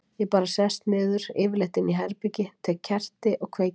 Ég bara sest niður, yfirleitt inni í herbergi, tek kerti og kveiki á því.